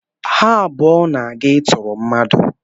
Ha abụọ na-aga ịtụrụ mmadụ.